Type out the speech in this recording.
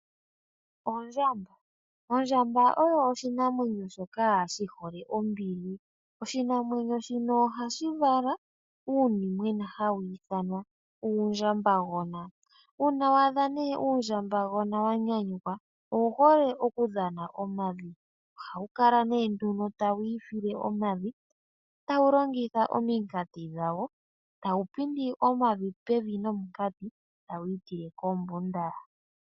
Ondjamba oyo oshinamwenyo shoka shi hole ombili. Oshinamwenyo shino ohashi vala uunimwena hawu ithanwa uundjambagona. Uuna wa adha nee uundjambagona wa nyanyukwa owu hole oku dhana omavi. Ohawu kala nee nduno tawu ifile omavi, tawu longitha ominkati dhawo. Tawu pindi omavi pevi nominkati tawu itile kombunda.